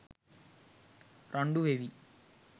රණ්ඩු වෙවී